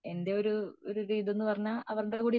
എന്റെ ഒരു ഇതെന്ന് പറഞ്ഞ അവരുടെ കൂടെ ഇരിക്കുമ്പോ